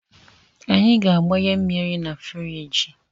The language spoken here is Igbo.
Anyị ga-agbanye mmiri na firiji